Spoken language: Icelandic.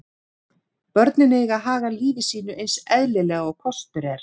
Börnin eiga að haga lífi sínu eins eðlilega og kostur er.